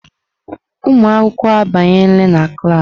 Ụmụ akwụkwọ abanyela na klas.